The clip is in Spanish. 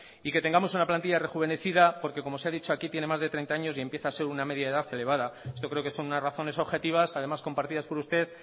y que tengamos una plantilla rejuvenecida porque como se ha dicho aquí tiene más de treinta años y empieza a ser una media de edad elevada esto creo que son unas razones objetivas además compartidas por usted